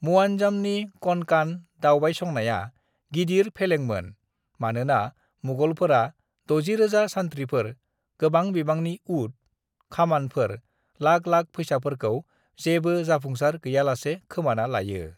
"मुआज्जामनि कनकान दावबायसंनाया गिदिर फेलेंमोन मानोना मुगलफोरा 60,000 सान्थ्रिफोर, गोबां बिबांनि ऊट, खामानफोर, लाख लाख फैसाफोरखौ जेबो जाफुंसार गैयालासे खोमाना लायो।"